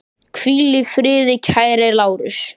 Hvíl í friði kæri Lárus.